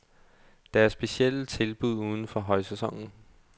Der er specielle tilbud uden for højsæsonen.